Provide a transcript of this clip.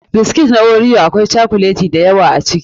Biscuits na Oreo akwai cokuleti da yawa a ciki.